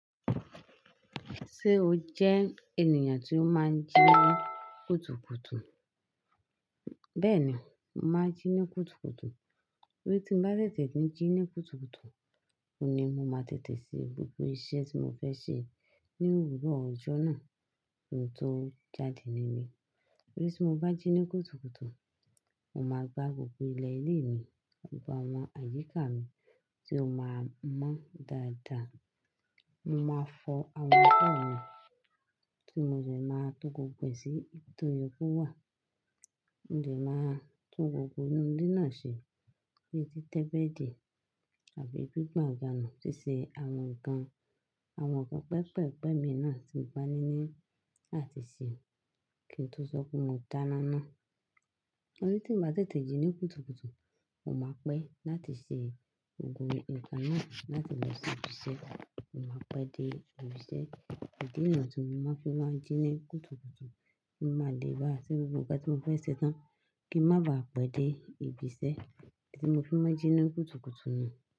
Ṣé o jẹ́ ènìyàn tí ó máa ń jí ní kùtùkùtù? Bẹ́ẹ̀ni, mo máa ń jí ní kùtùkùtù. Pe tí n bá tètè kí n jí ní kùtùkùtù, òuní mo máa tètè ṣe gbogbo iṣẹ́ tí mo fẹ́ ṣe ní òwúrọ̀ ọjọ́ náà, ki n tó jáde níbí. Pe tí mo bá jí ní kùtùkùtù, mo máa gbá gbogbo ilẹ̀ ilé mi, gbogbo àwọn àyíká mi tí ó máa mọ́ dáadáa. Mo máa fọ àwọn abo mi tí mo dẹ́ máa to gbógbo e sí ibi tó yọ kó wà. Mo dẹ́ máa tún gbogbo inú ilé náà ṣe bíi títẹ́bẹ̀dì àbí gbígbàn àga nu ṣíṣe àwọn nǹkan. Àwọn ǹkan pépèpé mi náà tí ń ba níní áti ṣe, kí n tó sọ pé mo dáná ná. Torí tí n bá tètè jí ní kùtùkùtù, mo máa pẹ́ láti ṣe gbogbo ǹkan náà láti lọ sí ibiṣẹ́. Mo máa pẹ́ dé ibiṣẹ́, ìdí náà tún ni mo fi máa ń jí ní kùtùkùtù kí mo má lè bá à rí gbogbo ǹkan tí mo fẹ́ ṣe tán kí n má baà pẹ́ dé ibiṣẹ́ tí mo fi máa ń jí ní kùtùkùtù náà.